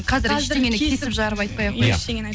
қазір ештеңені кесіп жарып айтпай ақ қояйыншы